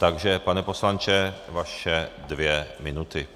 Takže pane poslanče, vaše dvě minuty.